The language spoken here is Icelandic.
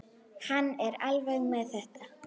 Hann er alveg með þetta.